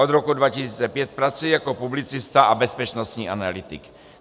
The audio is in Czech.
Od roku 2005 pracuje jako publicista a bezpečnostní analytik.